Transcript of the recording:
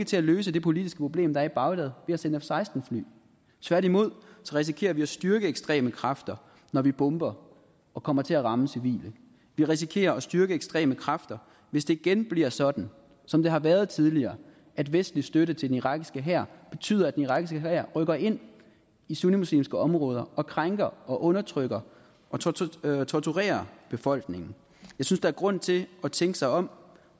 til at løse det politiske problem der er i bagdad ved at sende f seksten fly tværtimod risikerer vi at styrke ekstreme kræfter når vi bomber og kommer til at ramme civile vi risikerer at styrke ekstreme kræfter hvis det igen bliver sådan som det har været tidligere at vestlig støtte til den irakiske her betyder at den irakiske hær rykker ind i sunnimuslimske områder og krænker og undertrykker og torturerer torturerer befolkningen jeg synes der er grund til at tænke sig om og